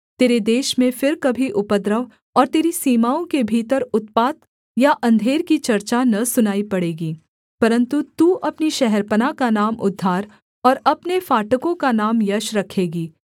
तेरे देश में फिर कभी उपद्रव और तेरी सीमाओं के भीतर उत्पात या अंधेर की चर्चा न सुनाई पड़ेगी परन्तु तू अपनी शहरपनाह का नाम उद्धार और अपने फाटकों का नाम यश रखेगी